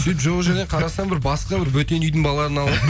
сөйтіп жоқ жерден қарасам бір басқа бір бөтен үйдің балаларын алыватыр